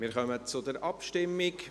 Wir kommen zur Abstimmung.